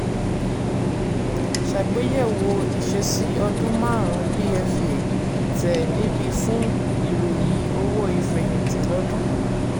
ṣàgbéyẹ̀wò ìṣesí ọdún márún pfa tẹ níbí fún fún ìròyìn owó ìfẹ̀yìntì lọ́ọ́dún.